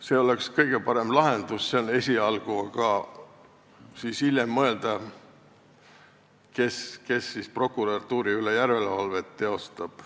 See oleks kõige parem lahendus esialgu ja hiljem saaks mõelda, kes prokuratuuri üle järelevalvet teeb.